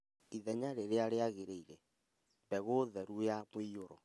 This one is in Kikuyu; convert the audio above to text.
Ithenya rĩrĩa rĩagĩrĩire, mbegũ theru na mũiyũro